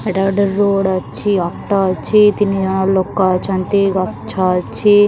ଏଇଟା ଗୋଟେ ରୋଡ଼୍ ଅଛି ଅଟ ଅଛି ତିନିଜଣ ଲୋକ ଅଛନ୍ତି ଗଛ ଅଛି।